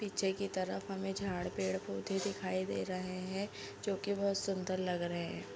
पीछे की तरफ हमें झाड़ पेड़-पौधे दिखाई दे रहे हैं जो की बहुत सुन्दर लग रहे है।